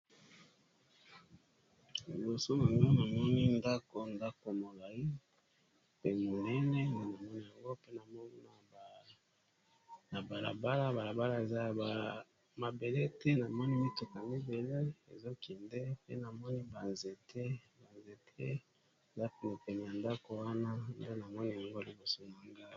Liboso na nga na moni ndako ndako molayi mpe monene na namoi yango pe, na moni na balabala balabala eza ya mabele te, na moni mituka mibale ezokende pe na moni banzete eza penepene ya ndako wana, nde na moni yango liboso na ngai.